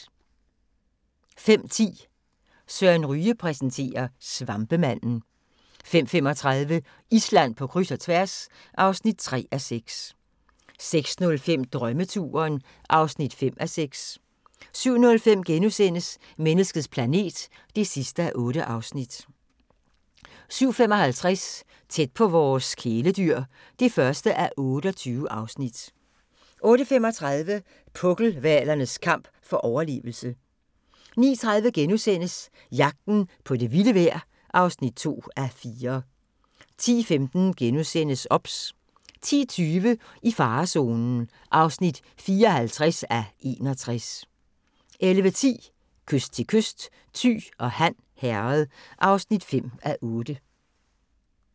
05:10: Søren Ryge præsenterer: Svampemanden 05:35: Island på kryds og tværs (3:6) 06:05: Drømmeturen (5:6) 07:05: Menneskets planet (8:8)* 07:55: Tæt på vores kæledyr (1:28) 08:35: Pukkelhvalernes kamp for overlevelse 09:30: Jagten på det vilde vejr (2:4)* 10:15: OBS * 10:20: I farezonen (54:61) 11:10: Kyst til kyst: Thy og Han Herred (5:8)